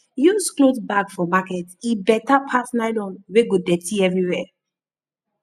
use cloth bag for market e better pass nylon wey go dirty everywhere